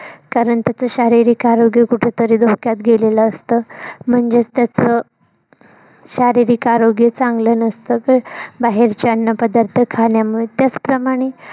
कारण त्याच शारीरिक आरोग्य कुठेतरी धोक्यात गेलेलं असत. म्हणजेच त्याच शारीरिक आरोग्य चांगलं नसत. तर बाहेरचे अन्न पदार्थ खाण्यामुळे त्याच प्रमाणे